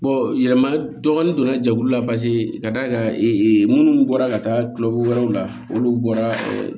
yɛlɛma dɔɔnin donna jɛkulu la paseke k'a d'a kan ee minnu bɔra ka taa kilo wɛrɛw la olu bɔra